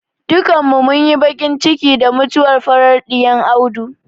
Dukkanin mu munyi baƙin ciki da mutuwar farar ɗayan Audu.